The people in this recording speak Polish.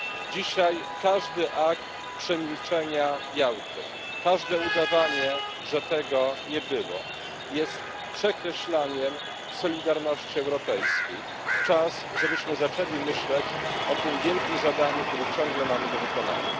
Dzisiaj każdy akt przemilczenia Jałty, każde udawanie, że tego nie było, jest przekreślaniem solidarności europejskiej. Czas, żebyśmy zaczęli myśleć o tym wielkim zadaniu, które ciągle mamy do wykonania.